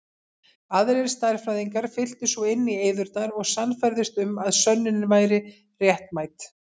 Aðrir stærðfræðingar fylltu svo inn í eyðurnar og sannfærðust um að sönnunin væri réttmæt.